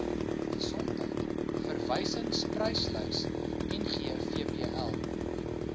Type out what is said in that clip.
gesondheid verwysingspryslys ngvpl